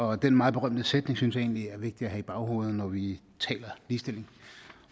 og den meget berømte sætning synes jeg egentlig er vigtig at have i baghovedet når vi taler ligestilling